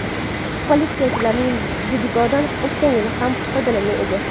Politsiyachilar Didigod’dan o‘tgan yili ham foydalangan edi.